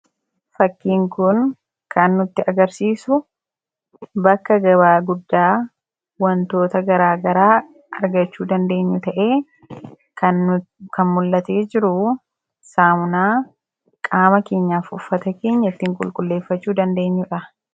Fakkiin kun kan nutti agarsiisu bakka gabaa guddaa wantoota garaa garaa argachuu dandeenyu ta'ee, kan mul'atee jirus saamunaa qaamaa fi uffata keenya ittiin qulqulleeffachuu dandeenyudha.